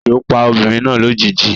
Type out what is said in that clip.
Ejo pa obinrin na lojiji